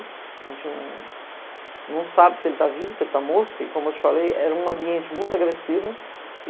A gente não sabe se ele tá vivo, se ele tá morto, porque como eu te falei, era um ambiente muito agressivo.